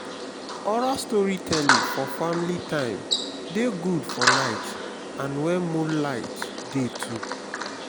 oral storytelling for family time de good for night and when moonlight de too